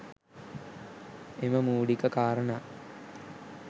එම මුලික කාරනා